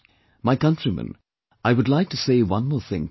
My countrymen, I would like to say one more thing to you